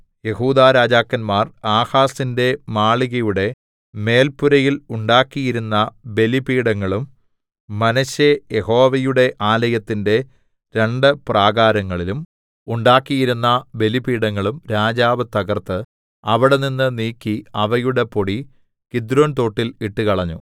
യെഹൂദാരാജാക്കന്മാർ ആഹാസിന്റെ മാളികയുടെ മേൽപുരയിൽ ഉണ്ടാക്കിയിരുന്ന ബലിപീഠങ്ങളും മനശ്ശെ യഹോവയുടെ ആലയത്തിന്റെ രണ്ടു പ്രാകാരങ്ങളിലും ഉണ്ടാക്കിയിരുന്ന ബലിപീഠങ്ങളും രാജാവ് തകർത്ത് അവിടെനിന്ന് നീക്കി അവയുടെ പൊടി കിദ്രോൻതോട്ടിൽ ഇട്ടുകളഞ്ഞു